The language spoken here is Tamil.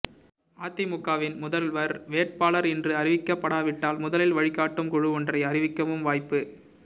அதிமுகவின் முதல்வர் வேட்பாளர் இன்று அறிவிக்கப்படாவிட்டால் முதலில் வழிகாட்டும் குழு ஒன்றை அறிவிக்கவும் வாய்ப்பு